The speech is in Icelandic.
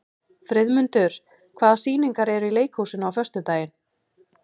Friðmundur, hvaða sýningar eru í leikhúsinu á föstudaginn?